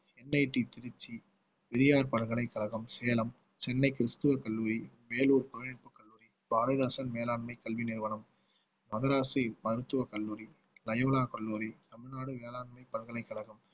NIT Trichy Periyar பல்கலைக்கழகம் சேலம் சென்னை கிறிஸ்துவ கல்லூரி வேலூர் பழனியப்பா கல்லூரி பாரதிதாசன் மேலாண்மை கல்வி நிறுவனம் மதராசி மருத்துவக் கல்லூரி லயோலா கல்லூரி தமிழ்நாடு வேளாண்மை பல்கலைக்கழகம்